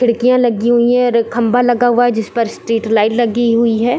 खिड़किया लगी हुई है रे खंभा लगा हुआ है जिस पर स्ट्रीट लाइट लगी हुई है।